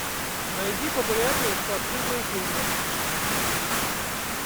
найди популярные спортивные фильмы